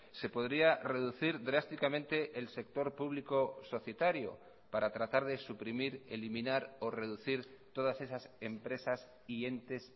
se podría reducir drásticamente el sector público societario para tratar de suprimir eliminar o reducir todas esas empresas y entes